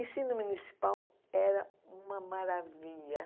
Ensino municipal era uma maravilha.